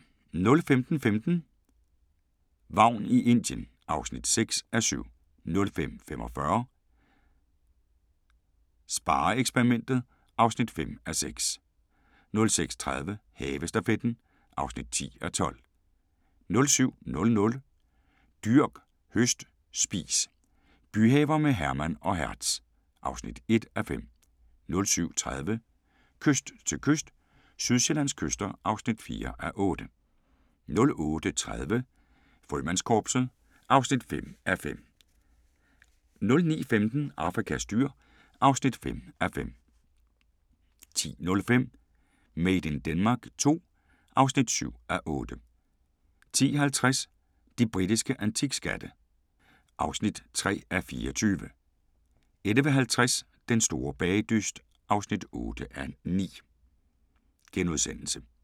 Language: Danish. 05:15: Vagn i Indien (6:7) 05:45: SpareXperimentet (5:6) 06:30: Havestafetten (10:12) 07:00: Dyrk, høst, spis – byhaver med Herman og Hertz (1:5) 07:30: Kyst til kyst – Sydsjællands kyster (4:8) 08:30: Frømandskorpset (5:5) 09:15: Afrikas dyr (5:5) 10:05: Made in Denmark II (7:8) 10:50: De britiske antikskatte (3:24) 11:50: Den store bagedyst (8:9)*